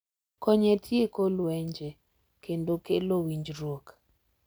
Kony e tieko lwenje kendo kelo winjruok.